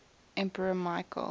emperor michael